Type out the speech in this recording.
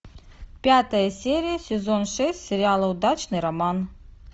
пятая серия сезон шесть сериала удачный роман